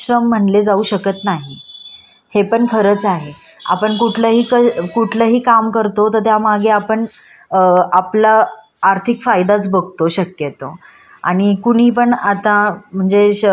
अ आपला आर्थिक फायदाच बगतो. शक्यतो आणि कुणी पण आता म्हणजे श कुठल्याही प्र प्रकारचा कष्ट करण्यासाठी पर्यतनच करत असत. बरोबर आहे कि नाही.